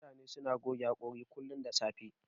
Mutane suna goge haƙori kullun da safe.